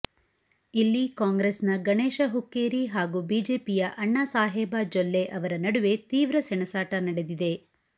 ಇಲ್ಲಿ ಕಾಂಗ್ರೆಸ್ನ ಗಣೇಶ ಹುಕ್ಕೇರಿ ಹಾಗೂ ಬಿಜೆಪಿಯ ಅಣ್ಣಾಸಾಹೇಬ ಜೊಲ್ಲೆ ಅವರ ನಡುವೆ ತೀವ್ರ ಸೆಣಸಾಟ ನಡೆದಿದೆ